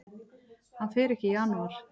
Hann fer ekki í janúar.